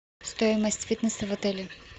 стоимость фитнеса в отеле